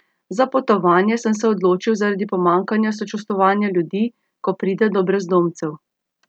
Za potovanje sem se odločil zaradi pomanjkanja sočustvovanja ljudi, ko pride do brezdomcev.